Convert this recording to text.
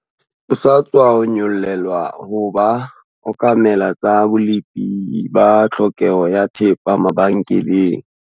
O sa tswa nyollelwa ho ba okamela tsa bolepi ba tlhokeho ya thepa mabenkeleng.